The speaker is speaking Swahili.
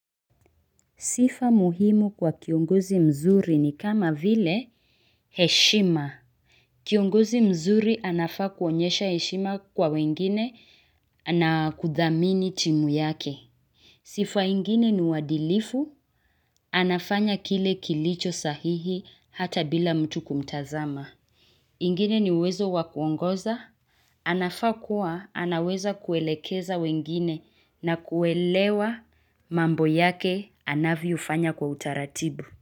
Sifa muhimu kwa kiongozi mzuri ni kama vile heshima kiongozi mzuri anafaa kuonyesha heshima kwa wengine na kuthamini timu yake sifa ingine ni uwadilifu anafanya kile kilicho sahihi hata bila mtu kumtazama ingine ni uwezo wa kuongoza anafaa kuwa anaweza kuelekeza wengine na kuelewa mambo yake anavyofanya kwa utaratibu.